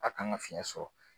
k'a kan ka fiyɛn sɔrɔ.